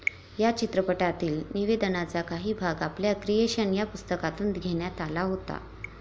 या चित्रपटातील निवेदनाचा काही भाग आपल्या क्रिएशन या पुस्तकातून घेण्यात आला होता.